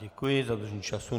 Děkuji za dodržení času.